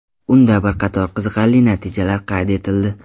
Unda bir qator qiziqarli natijalar qayd etildi.